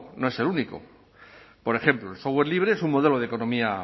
no es el único por ejemplo el software libre es un modelo de economía